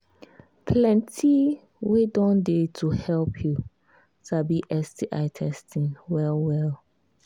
plenty way don they to help you sabi sti testing well well